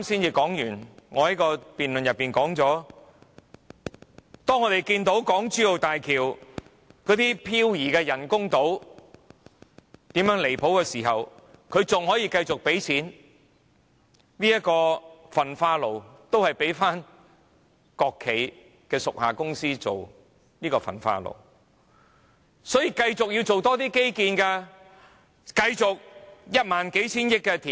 我剛在辯論時說過，當我們看到港珠澳大橋那些人工島如何飄移時，政府仍可以繼續付鈔，仍交給國企的屬下公司興建，仍要繼續多做基建，繼續花一萬數千億元填海。